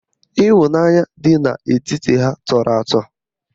Ịhụnanya dị n'etiti ha tọrọ atọ